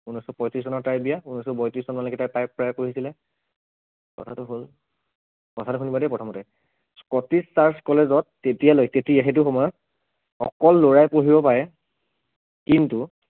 ঊনৈছশ পয়ত্ৰিছ চনত তাইৰ বিয়া ঊনৈছশ বত্ৰিছ চনলৈকে তাই প্ৰায় প্ৰায় পঢ়িছিলে, কথাটো হল, কথাটো শুনিবা দেই প্ৰথমতে Scottish Church College ত তেতিয়ালৈ তেতিয়া সেইটো সময়ত অকল লৰাই পঢ়িব পাৰে, কিন্তু